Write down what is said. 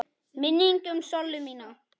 Minning um Sollu mína.